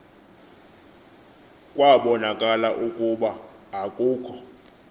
kwabonakala ukuba akukho